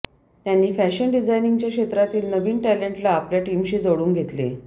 त्यांनी फॅशन डिझायनिंगच्या क्षेत्रातील नवीन टॅलेंटला आपल्या टीमशी जोडून घेतले